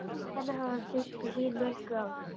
Þannig hafi hún þraukað hin mögru ár.